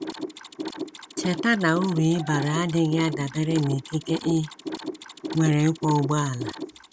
Cheta na uru ị bara adịghị adabere n’ikike i nwere ịkwọ ụgbọala.